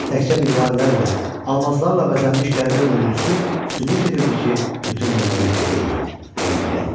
Təkcə mirvarilərlə, almazlarla bəzənmiş qəribə möcüsü sübut edirdi ki, bütün bunlar yuxu deyil, həqiqətdir.